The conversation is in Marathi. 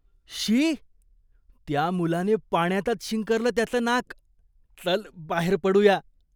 शी! त्या मुलाने पाण्यातच शिंकरलं त्याचं नाक. चल, बाहेर पडूया.